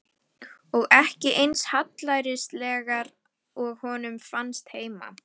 Og ekki eins hallærislegar og honum fannst heima.